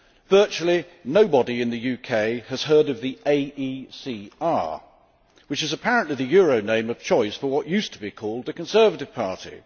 Virtually nobody in the UK has heard of the AECR, which is apparently the euro name of choice for what used to be called the Conservative Party'.